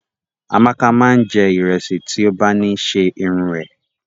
Amaka máa n jẹ ìrẹsì ti o ba ni ṣe irun é.